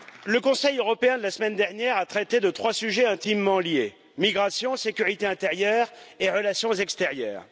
Le Conseil européen de la semaine dernière a traité de trois sujets, intimement liés migration, sécurité intérieure et relations extérieures.